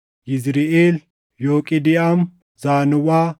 Yizriʼeel, Yooqidiʼaam, Zaanoʼaa,